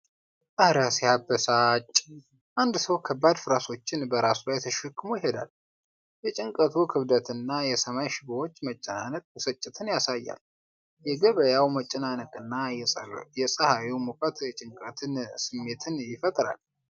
እረ ሲያበሳጭ! አንድ ሰው ከባድ ፍራሾችን በራሱ ላይ ተሸክሞ ይሄዳል። የጭነቱ ክብደትና የሰማይ ሽቦዎች መጨናነቅ ብስጭትን ያሳያል። የገበያው መጨናነቅና የፀሐዩ ሙቀት የጭንቀት ስሜትን ይፈጥራል።